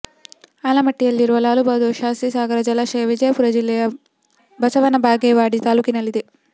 ಆಲಮಟ್ಟಿಯಲ್ಲಿರುವ ಲಾಲ್ ಬಹದ್ದೂರ್ ಶಾಸ್ತ್ರಿ ಸಾಗರ ಜಲಾಶಯ ವಿಜಯಪುರ ಜಿಲ್ಲೆಯ ಬಸವನ ಬಾಗೇವಾಡಿ ತಾಲೂಕಿನಲ್ಲಿದೆ